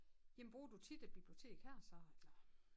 Jamen bruger du tit et bibliotek her så eller